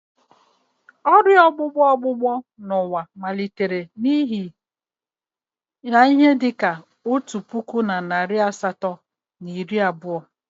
Ọrịa ọgbụgbọ ọgbụgbọ n'ụwa malitere n'ihe dị ka otu puku na narị asatọ na iri abụọ.